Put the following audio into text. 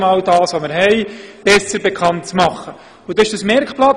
Daraus entstand ein Merkblatt.